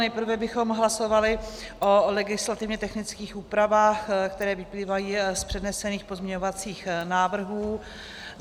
Nejprve bychom hlasovali o legislativně technických úpravách, které vyplývají z přednesených pozměňovacích návrhů.